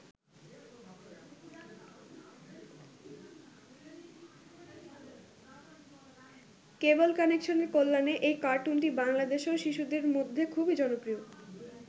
Cable কানেকশনের কল্যাণে এই কার্টুনটি বাংলাদেশেও শিশুদের মধ্যে খুবই জনপ্রিয়।